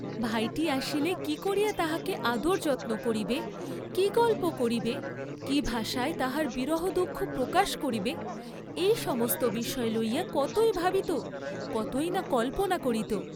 ভাইটি আসিলে কি করিয়া তাহাকে আদর যত্ন করিবে, কি গল্প করিবে, কি ভাষায় তাহার বিরহদুঃখ প্রকাশ করিবে; এই সমস্ত বিষয় লইয়া কতই ভাবিত, কতই না কল্পনা করিত!